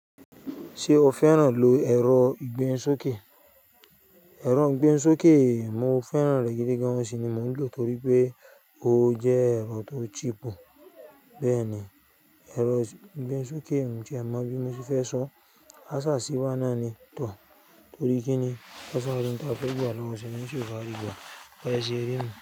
Ṣé o fẹ́ràn lò ẹ̀rọ ìgbeni sókè? Ẹ̀rọ ìgbehùnsókè, mo fẹ́ràn rẹ gidi gan-an òun sì ni mo ń lò torí pé ó jẹ́ ẹ̀rọ tó cheap. Bẹ́ẹ̀ni, ẹ̀rọ ìgbehùn sókè, miì tiẹ̀ mọ bí mo ṣe fẹ́ sọọ́. Á sà sí i wá náà ni tò. Torí kí ni ó sá máa ṣe ń ta pẹ́bà lọ́wọ́ ṣe ní ṣọ́ọ̀bù Àríkú, ó máa ṣe rí mi.